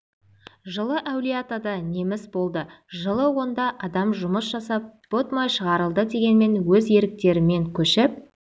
жылы әулиеатада неміс болды жылы онда адам жұмыс жасап пұт май шығарылды дегенмен өз еріктерімен көшіп